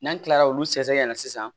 N'an kilala olu sɛgɛsɛgɛ la sisan